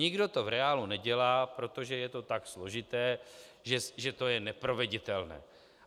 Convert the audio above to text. Nikdo to v reálu nedělá, protože je to tak složité, že to je neproveditelné.